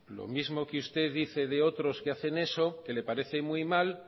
lo mismo que usted dice de otros que hacen eso que le parece muy mal